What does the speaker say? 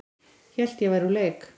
Hélt að ég væri úr leik